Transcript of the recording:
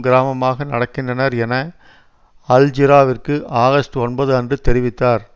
கிராமமாக நடக்கின்றனர் என அல் ஜிராவிற்கு ஆகஸ்ட் ஒன்பது அன்று தெரிவித்தார்